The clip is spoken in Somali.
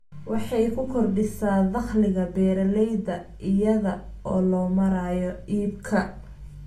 Waxey ku kordhisaa dakhliga beeralayda iyada oo loo marayo iibka.